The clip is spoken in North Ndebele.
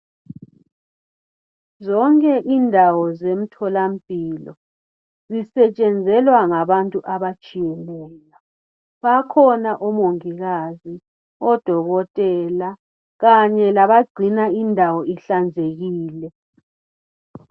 Zonke indawo zemtholampilo, zisetshenzelwa ngabantu abatshiyeneyo. Bakhona omongikazi, odokotela kanye labagcina indawo ihlanzekile.